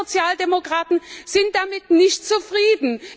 Aber wir Sozialdemokraten sind damit nicht zufrieden!